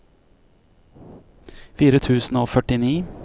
fire tusen og førtini